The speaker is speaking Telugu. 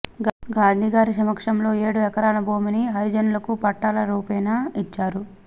గాంధీగారి సమక్షంలో ఏడు ఎకరాల భూమిని హరిజనులకు పట్టాల రూపేణా ఇచ్చారు